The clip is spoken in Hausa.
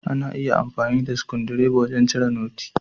Ana iya amfani da sikundireba wajan cire noti.